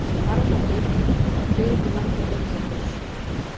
Varmahlíð var byggð í landi Reykjarhóls.